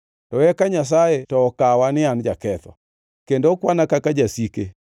To eka Nyasaye to okawa ni an jaketho; kendo okwana kaka jasike.